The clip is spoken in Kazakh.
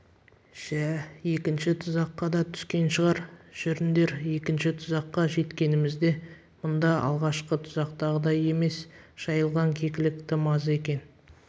жә екінші тұзаққа да түскен шығар жүріңдер екінші тұзаққа жеткенімізде мұнда алғашқы тұзақтағыдай емес жайылған кекілік тым аз екен